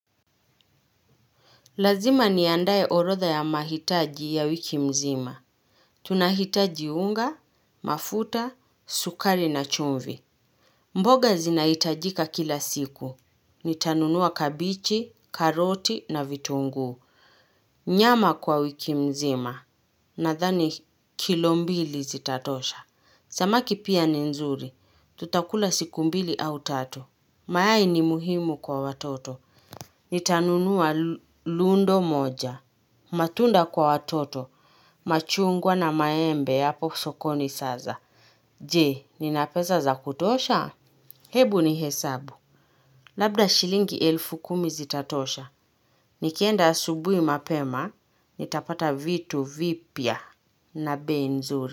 Lazima niandaye orodha ya mahitaji ya wiki mzima. Tunahitaji unga, mafuta, sukari na chumvi. Mboga zinahitajika kila siku. Nitanunua kabichi, karoti na vitunguu. Nyama kwa wiki mzima. Nathani kilo mbili zitatosha. Samaki pia ni nzuri. Tutakula siku mbili au tatu. Mayai ni muhimu kwa watoto. Nitanunua lundo moja. Matunda kwa watoto, machungwa na maembe hapo sokoni saza. Je, nina pesa za kutosha? Hebu ni hesabu. Labda shilingi elfu kumi zitatosha. Nikienda asubuhi mapema, nitapata vitu vipya na bei nzuri.